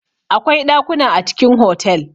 Akwai ɗakuna a cikin hotel.